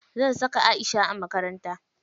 Zan saka Aisha a makaranta.